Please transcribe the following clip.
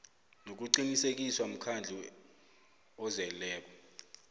nokuqinisekiswa mkhandlu ozeleko